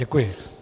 Děkuji.